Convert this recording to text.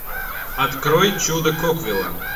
открой чудо коквилла